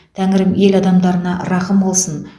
тәңірім ел адамдарына рақым қылсын